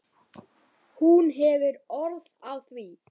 Hún hefur orð á því.